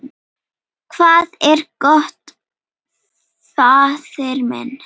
Hvað er gott, faðir minn?